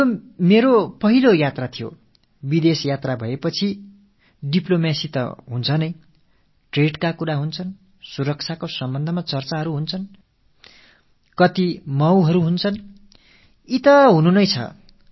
இது எனது முதல் தென்னாப்பிரிக்கப் பயணம் அயல்நாட்டுப் பயணம் என்றாலே ராஜரீகம் டிப்ளோமசி என்பது இணைபிரியாத அங்கம் வர்த்தகம் பற்றிய விவாதங்கள் பாதுகாப்பு தொடர்பான உரையாடல்கள் என பல துறைகளில் பன்னாட்டு ஒப்பந்தங்கள் செய்து கொள்ளப்படுகின்றன